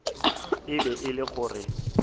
e be e le gore